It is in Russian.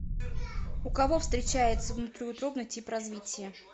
у кого встречается внутриутробный тип развития